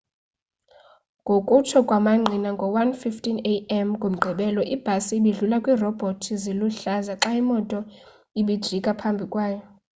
ngokutsho kwamangqina ngo-1:15 a.m. ngomgqibelo ibhasi ibidlula iirobhoti ziluhlaza xa imoto ibijika phambi kwayo